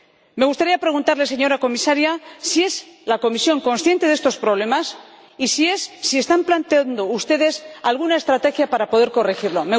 Me gustaría preguntarle, señora Comisaria, si la Comisión es consciente de estos problemas y si están planteando ustedes alguna estrategia para poder corregirlos.